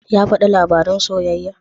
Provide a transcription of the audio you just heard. Ya faɗi labarin soyayyar?